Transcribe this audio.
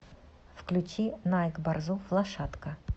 включи найк борзов лошадка